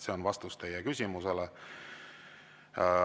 See on vastus teie küsimusele.